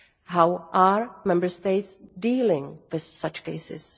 How are Member States dealing with such cases?